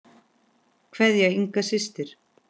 Kveðja, Inga systir.